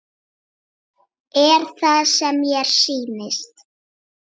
Er það sem mér sýnist?